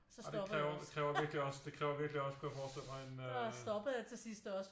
Ej det kræver virkelig også det kræver virkelig også kunne jeg forestille mig en øh